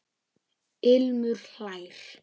Ilmur hlær.